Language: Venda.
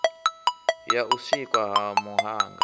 ya u sikwa ha muhanga